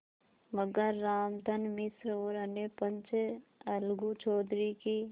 मगर रामधन मिश्र और अन्य पंच अलगू चौधरी की